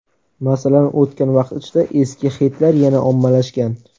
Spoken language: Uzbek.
Masalan, o‘tgan vaqt ichida eski xitlar yana ommalashgan.